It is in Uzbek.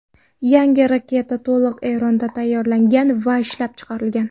Yangi raketa to‘liq Eronda tayyorlangan va ishlab chiqilgan.